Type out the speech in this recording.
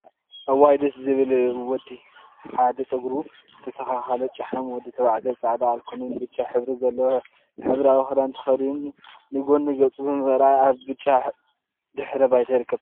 እዋይ ደስ ዝብል ወዲ! ሓደ ፀጉሩ ዝተስተካከለ ጨሓም ወዲ ተባዕታይ ፃዕዳ፣ አልኮልን ብጫን ሕብሪ ዘለዎ ሕብራዊ ክዳን ተከዲኑ ንጎኑ ገፁ ብምርአይ አብ ብጫ ድሕረ ባይታ ይርከብ፡፡